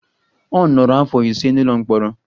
Ọ nọrọ afọ ise n'ụlọ mkpọrọ.